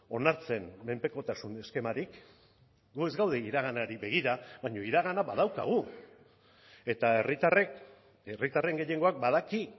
onartzen menpekotasun eskemarik gu ez gaude iraganari begira baina iragana badaukagu eta herritarrek herritarren gehiengoak badaki